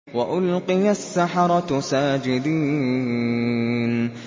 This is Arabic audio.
وَأُلْقِيَ السَّحَرَةُ سَاجِدِينَ